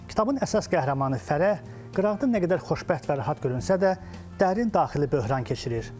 Kitabın əsas qəhrəmanı Fərəh qıraqda nə qədər xoşbəxt və rahat görünsə də, dərin daxili böhran keçirir.